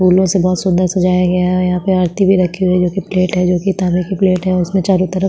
फूलो से बहुत सुन्दर सजाया गया है और यहाँ पे आरती भी रखी हुई जो की प्लेट है जो की ताम्बे की प्लेट है उसमें चारों तरफ --